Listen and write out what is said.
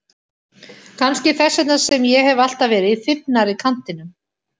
Kannski þess vegna sem ég hef alltaf verið í þybbnari kantinum.